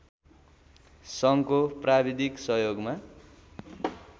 सङ्घको प्राविधिक सहयोगमा